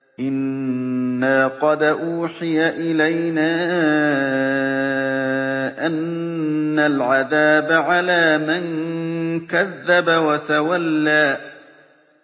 إِنَّا قَدْ أُوحِيَ إِلَيْنَا أَنَّ الْعَذَابَ عَلَىٰ مَن كَذَّبَ وَتَوَلَّىٰ